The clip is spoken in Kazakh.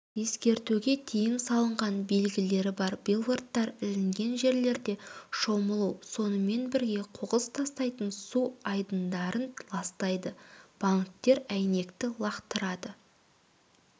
ескертуге тыйым салынған белгілері бар билбордтар ілінген жерлерде шомылу сонымен бірге қоқыс тастайтын су айдындарын ластайды банктер әйнекті лақтырады